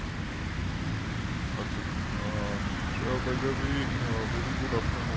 আচ্ছা sobythewayverygoodafternoon